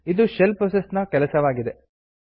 ಇದು shell process ನ ಕೆಲಸವಾಗಿದೆ